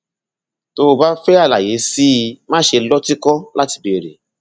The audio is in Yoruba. tó o bá fẹ àlàyé sí i máṣe lọtìkọ láti béèrè